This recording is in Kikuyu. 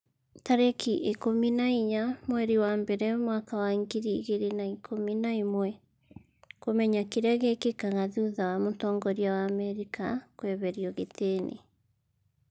tarĩki ikũmi na inya mweri wa mbere mwaka wa ngiri igĩrĩ na ikũmi na ĩmweKũmenya kĩrĩa gĩkĩkaga thutha wa mũtongoria wa Amerika kũeherio gĩtĩ-inĩ